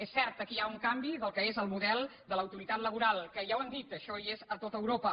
és cert aquí hi ha un canvi del que és el model de l’autoritat laboral que ja ho hem dit això hi és a tot europa